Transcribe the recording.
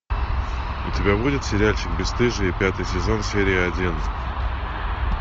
у тебя будет сериальчик бесстыжие пятый сезон серия один